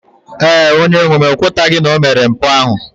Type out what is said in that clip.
Ee, onye-nwem o kwetaghị na o mere mpụ ahụ.